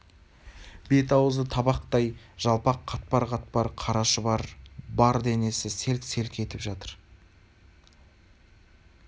бет-аузы табақтай жалпақ қатпар-қатпар қара шұбар бар денесі селк-селк етіп жатыр